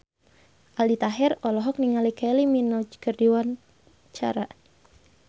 Aldi Taher olohok ningali Kylie Minogue keur diwawancara